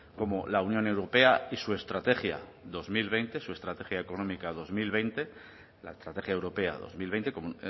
como la unión europea y su estrategia dos mil veinte su estrategia económica dos mil veinte la estrategia europea dos mil veinte como